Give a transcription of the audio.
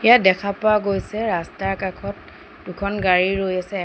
ইয়াত দেখা পোৱা গৈছে ৰাস্তাৰ কাষত দুখন গা ৰৈ আছে।